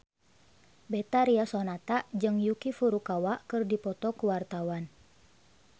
Betharia Sonata jeung Yuki Furukawa keur dipoto ku wartawan